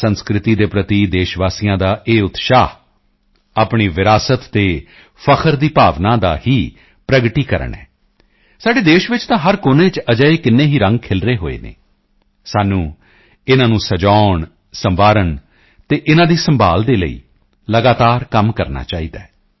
ਸੰਸਕ੍ਰਿਤੀ ਦੇ ਪ੍ਰਤੀ ਦੇਸ਼ਵਾਸੀਆਂ ਦਾ ਇਹ ਉਤਸ਼ਾਹ ਆਪਣੀ ਵਿਰਾਸਤ ਤੇ ਫ਼ਖਰ ਦੀ ਭਾਵਨਾ ਦਾ ਹੀ ਪ੍ਰਗਟੀਕਰਣ ਹੈ ਸਾਡੇ ਦੇਸ਼ ਵਿੱਚ ਤਾਂ ਹਰ ਕੋਨੇ ਚ ਅਜਿਹੇ ਕਿੰਨੇ ਹੀ ਰੰਗ ਖਿਲਰੇ ਹੋਏ ਹਨ ਸਾਨੂੰ ਇਨ੍ਹਾਂ ਨੂੰ ਸਜਾਉਣਸੰਵਾਰਨ ਅਤੇ ਇਨ੍ਹਾਂ ਦੀ ਸੰਭਾਲ਼ ਦੇ ਲਈ ਲਗਾਤਾਰ ਕੰਮ ਕਰਨਾ ਚਾਹੀਦਾ ਹੈ